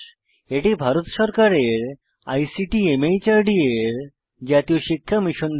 এটি ভারত সরকারের আইসিটি মাহর্দ এর জাতীয় শিক্ষা মিশন দ্বারা সমর্থিত